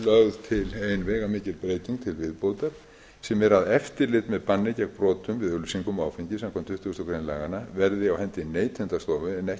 lögð til ein veigamikil breyting til viðbótar sem er að eftirlit með banni gegn brotum við auglýsingum á áfengi samkvæmt tuttugustu greinar laganna verði á hendi neytendastofu en